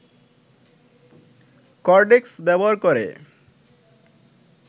cortex ব্যবহার করে